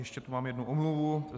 Ještě tady mám jednu omluvu.